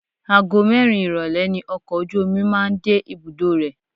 Ago mẹ́rin ìrólé ni ọkọ̀ ojú omi máa ń dé ibùdó rẹ̀.